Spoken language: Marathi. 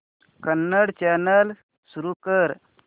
कन्नड चॅनल सुरू कर